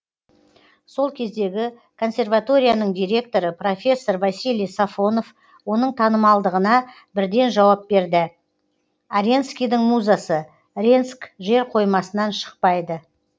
сол кездегі консерваторияның директоры профессор василий сафонов оның танымалдығына бірден жауап берді аренскийдің музасы ренск жерқоймасынан шықпайды